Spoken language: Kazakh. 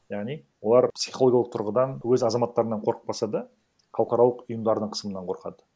яғни олар психологиялық тұрғыдан өз азаматтарынан қорықпаса да халықаралық ұйымдарының қысымынан қорқады